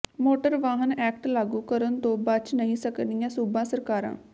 motor ਵਾਹਨ act ਲਾਗੂ ਕਰਨ ਤੋਂ ਬਚ ਨਹੀਂ ਸਕਣਗੀਆਂ ਸੂਬਾ ਸਰਕਾਰਾਂ